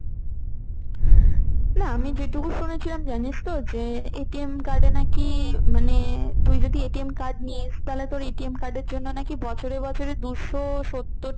না আমি যেটুকু শুনেছিলাম জানিস তো যে card এ নাকি মানে তুই যদি card নিস, তোর এটিএম card এর জন্য নাকি বছরে বছরে দুশো সত্তর